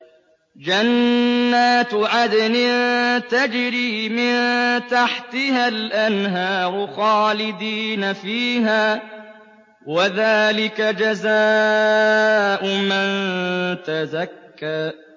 جَنَّاتُ عَدْنٍ تَجْرِي مِن تَحْتِهَا الْأَنْهَارُ خَالِدِينَ فِيهَا ۚ وَذَٰلِكَ جَزَاءُ مَن تَزَكَّىٰ